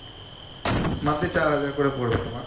monthly চার হাজার করে পরবে তোমার